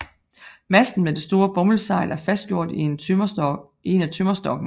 Masten med det store bomuldssejl er fastgjort i en af tømmerstokkene